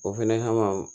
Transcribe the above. O fɛnɛ kama